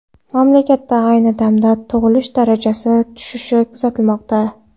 Mamlakatda ayni damda tug‘ilish darajasi tushishi kuzatilmoqda.